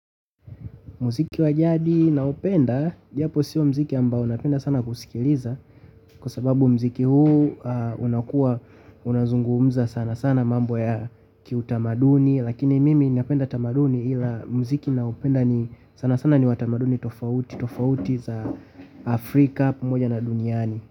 Mziki wa jadi naupenda, japo sio mziki ambao napenda sana kusikiliza kwa sababu mziki huu unakuwa unazungumza sana sana mambo ya kiutamaduni lakini mimi napenda tamaduni ila mziki naupenda sana sana ni wa tamaduni tofauti tofauti za Afrika pamoja na duniani.